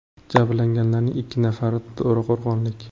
Jabrlanganlarning ikki nafari to‘raqo‘rg‘onlik.